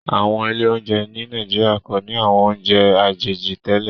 Awọn ilé oúnjẹ ni Naijiria ko ni awọn ounjẹ àjèjì tẹlẹ